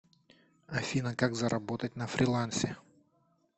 афина как заработать на фрилансе